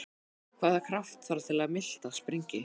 Hvaða krafta þarf til að miltað springi?